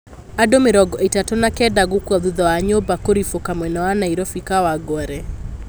Andũ mĩrongo ĩtatũ na kenda gũkua thutha wa nyũmba kũrifũka mwena wa Nairobi kawangware